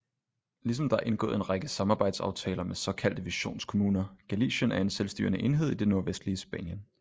Ligesom der er indgået en række samarbejdsaftaler med såkaldte visionskommunerGalicien er en selvstyrende enhed i det nordvestlige spanien